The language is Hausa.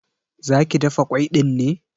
Zaka dafa ƙwai ɗin ne?